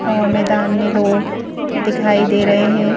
और मैदान में लोग दिखाई दे रहे हैं।